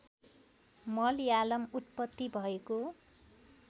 मलयालम उत्पत्ति भएको